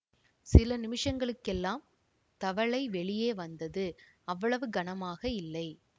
சில நிமிஷங்களுக்கெல்லாம் தவலை வெளியே வந்தது அவ்வளவு கனமாக இல்லை